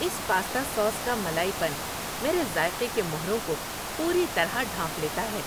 اس pasta sauce کا ملائی پن میرے ذائقے کے مہروں کو پوری طرح ڈھانپ لیتا ہے۔